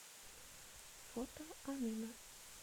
фото амина